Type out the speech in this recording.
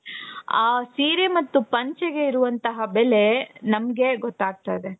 ಆ ಸೀರೆ ಮತ್ತು ಪಂಚೆಗೆ ಇರುವಂತಹ ಬೆಲೆ ನಮಗೆ ಗೊತ್ತಾಗ್ತಾ ಇದೆ .